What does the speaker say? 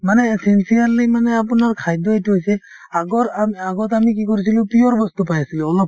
মানে এই sincerely মানে আপোনাৰ খাদ্য এইটো হৈছে আগৰ আম আগত আমি কি কৰিছিলো pure বস্তু পাই আছিলো অলপ